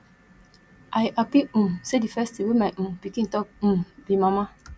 i happy um say the first thing wey my um pikin talk um be mama